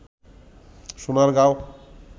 Sonargaon